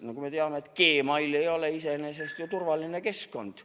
Nagu me teame, et Gmail ei ole iseenesest turvaline keskkond.